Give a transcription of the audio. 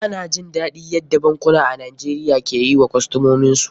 Ba na jin daɗin yadda bankuna a Najeriya ke yi wa kostomin su.